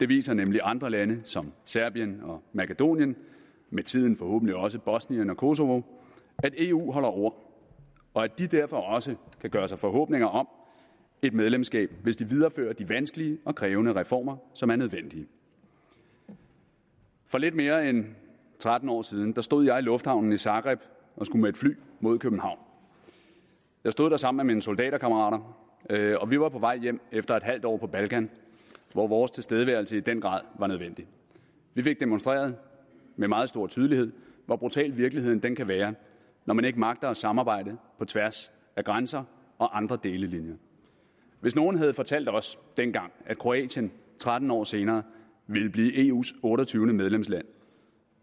viser nemlig andre lande som serbien og makedonien med tiden forhåbentlig også bosnien og kosovo at eu holder ord og at de derfor også kan gøre sig forhåbninger om et medlemskab hvis de viderefører de vanskelige og krævende reformer som er nødvendige for lidt mere end tretten år siden stod jeg i lufthavnen i zagreb og skulle med et fly mod københavn jeg stod der sammen med mine soldaterkammerater og vi var på vej hjem efter et halvt år på balkan hvor vores tilstedeværelse i den grad var nødvendig vi fik med meget stor tydelighed hvor brutal virkeligheden kan være når man ikke magter at samarbejde på tværs af grænser og andre delelinjer hvis nogen havde fortalt os dengang at kroatien tretten år senere ville blive eus otteogtyvende medlemsland